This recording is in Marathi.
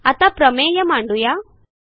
आता प्रमेय मांडू या